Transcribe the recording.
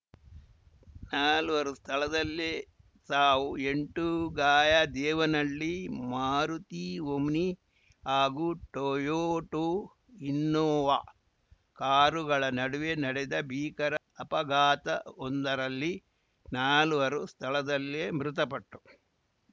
ನಾಲ್ವರು ಸ್ಥಳದಲ್ಲೇ ಸಾವು ಎಂಟು ಗಾಯ ದೇವನಹಳ್ಳಿ ಮಾರುತಿ ಓಮ್ನಿ ಹಾಗೂ ಟೊಯೋಟೋ ಇನ್ನೋವಾ ಕಾರುಗಳ ನಡುವೆ ನಡೆದ ಭೀಕರ ಅಪಘಾತವೊಂದರಲ್ಲಿ ನಾಲ್ವರು ಸ್ಥಳದಲ್ಲೇ ಮೃತಪಟ್ಟು